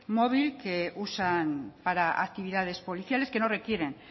móvil que usan para actividades policiales que no requieren